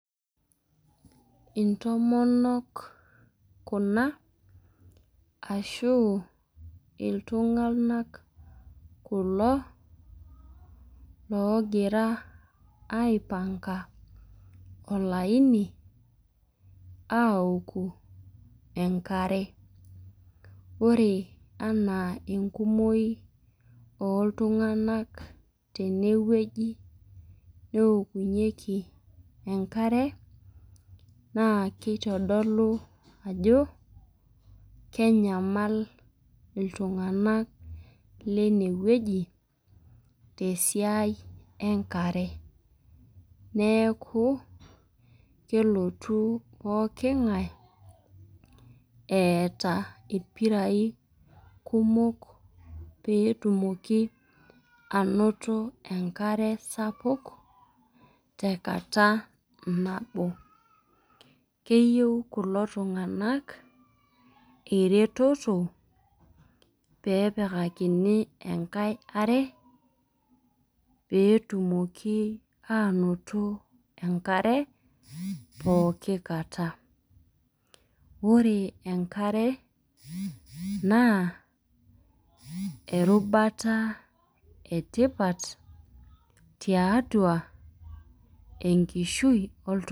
Intomonok kuna ashu ltunganak kulo logira aipanga olaini aoku enkare ore ena enkumoi oltunganak tenewueji neokunyeki enkare nakitadolu ajo kenyamal ltunganak lenewueji tesiaia enkarebneaku kelotu pooki ngae eeta irpirai kumok petumoki ainoto enkare sapuk tenkata nabo keyieu kulo tunganak eretoto pepikakini enkae are petumokib anoto enkare pooki kata ore enkare na erubata etipat tiatua enkishui oltungani.